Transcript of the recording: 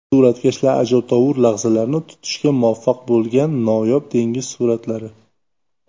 Suratkashlar ajabtovur lahzalarni tutishga muvaffaq bo‘lgan noyob dengiz suratlari .